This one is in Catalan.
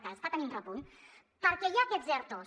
que està tenint repunt perquè hi ha aquests ertos